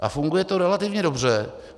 A funguje to relativně dobře.